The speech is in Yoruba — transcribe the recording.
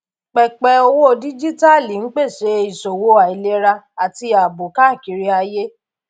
pẹpẹ owó díjíítàálì ń pèsè ìṣòwò àìlera àti ààbò káàkiri ayé